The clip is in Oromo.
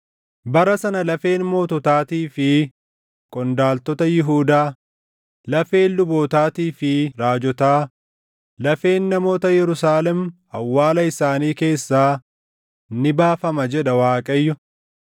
“ ‘Bara sana lafeen moototaatii fi qondaaltota Yihuudaa, lafeen lubootaatii fi raajotaa, lafeen namoota Yerusaalem awwaala isaanii keessaa ni baafama’ jedha Waaqayyo.